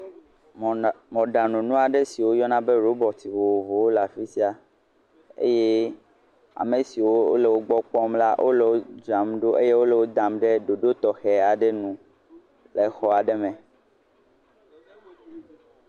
Mɔna, mɔɖanu nu aɖe si woyɔna be robɔti wole afi sia eye ame siwo wole wogbɔ kpɔm la wole wodzram ɖo eye wole wodam ɖe ɖoɖo tɔxɛ aɖe nu le xɔ aɖe me.